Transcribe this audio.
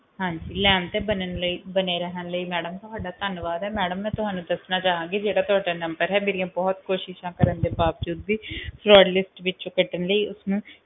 ਹਾਂਜੀ line ਤੇ ਬਣੇ ਰਹਿਣ ਲੈ ਮੈਡਮ ਤੁਹਾਡਾ ਧੰਨਵਾਦ ਆ ਮੈਡਮ ਮੈਂ ਤੁਹਾਨੂੰ ਦੱਸਣਾ ਚਾਹਾਂਗੀ ਮੇਰੀ ਬਹੁਤ ਕੋਸ਼ਿਸ਼ਾਂ ਕਰਨ ਤੋਂ ਬਾਵਜੂਦ ਵੀ fraudlist ਵਿੱਚੋ ਕਾਢਾਂ ਲੈ ਉਸਨੂੰ